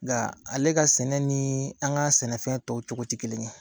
Nka ale ka sɛnɛ ni an ka sɛnɛfɛn tɔw cogo ti kelen ye